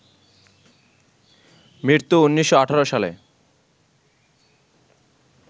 মৃত্যু ১৯১৮ সালে